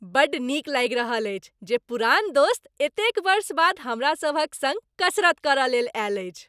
बड्ड नीक लागि रहल अछि जे पुरान दोस्त एतेक वर्ष बाद हमरासभक सङ्ग कसरत करय लेल आयल अछि।